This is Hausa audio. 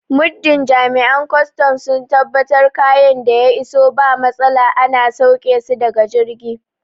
Muddin Jami'an kwaston sun tabbatar kayan da ya iso ba matsala ana sauƙe su daga jirgi